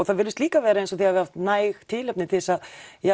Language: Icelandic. þá virðist líka vera sem þið hafið haft næg tilefni til þess að